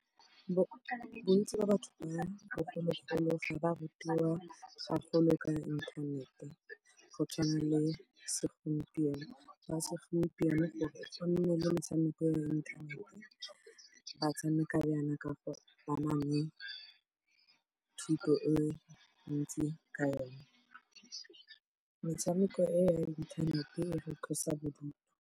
Bontsi ba batho ba bogologolo ga ba rutiwa gagolo ka inthanete go tshwana le segompieno. Ba segompieno gore go nne le metshameko ya inthanete, ba tshameka jana ka gore ba na le thuto e ntsi ka yon. Metshameko eo ya inthanete e re tlosa bodutu,